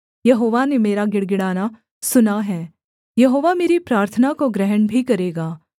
यहोवा ने मेरा गिड़गिड़ाना सुना है यहोवा मेरी प्रार्थना को ग्रहण भी करेगा